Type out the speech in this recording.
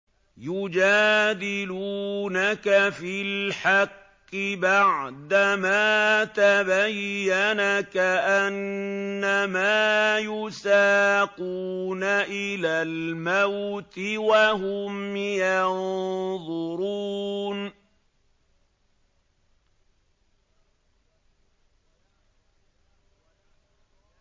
يُجَادِلُونَكَ فِي الْحَقِّ بَعْدَمَا تَبَيَّنَ كَأَنَّمَا يُسَاقُونَ إِلَى الْمَوْتِ وَهُمْ يَنظُرُونَ